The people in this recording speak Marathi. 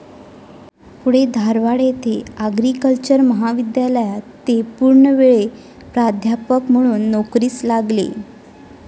पुढे धारवाड येथे आग्रिकल्चरल महाविद्यालयात ते पूर्णवेळ प्राध्यापक म्हणून नोकरीस लागले.